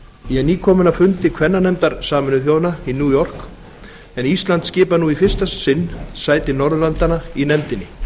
ég er nýkominn af fundi kvennanefndar sameinuðu þjóðanna í new york en ísland skipar nú í fyrsta sinn sæti norðurlandanna í nefndinni